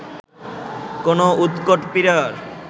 কোন উৎকট পীড়ার